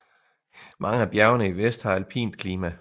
Mange af bjergene i vest har alpint klima